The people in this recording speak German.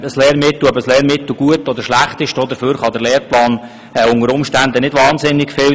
Ob ein Lehrmittel gut oder schlecht ist, dafür kann ein Lehrplan unter Umständen nicht wahnsinnig viel.